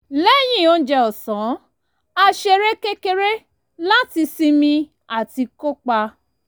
lẹ́yìn oúnjẹ ọ̀sán a ṣeré kékeré láti sinmi àti kópa